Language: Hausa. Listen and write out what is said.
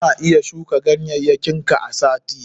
Kana iya shuka ganyayyakin ka a sati.